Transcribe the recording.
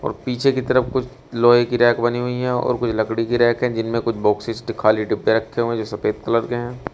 पीछे की तरफ कुछ लोहे की रैक बनी हुई है और कुछ लकड़ी की रैक है जिनमें कुछ बाक्सेस खाली डब्बे रखे हो जो सफेद कलर के हैं।